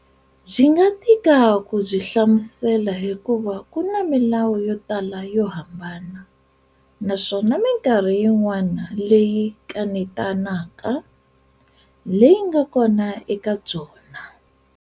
Byi nga tika ku byi hlamusela hikuva ku na milawu yo tala yo hambana, naswona minkarhi yin'wana leyi kanetanaka, leyi nga kona eka byona.